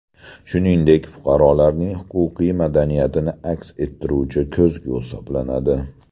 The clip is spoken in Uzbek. Shuningdek, fuqarolarning huquqiy madaniyatini aks ettiruvchi ko‘zgu hisoblanadi.